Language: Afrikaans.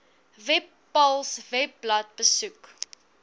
webpals webblad besoek